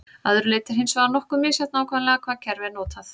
Að öðru leyti er hins vegar nokkuð misjafnt nákvæmlega hvaða kerfi er notað.